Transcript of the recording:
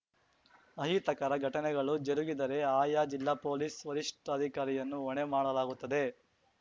ಅಹಿತಕರ ಘಟನೆಗಳು ಜರುಗಿದರೆ ಆಯಾ ಜಿಲ್ಲಾ ಪೊಲೀಸ್‌ ವರಿಷ್ಠಾಧಿಕಾರಿಯನ್ನು ಹೊಣೆ ಮಾಡಲಾಗುತ್ತದೆ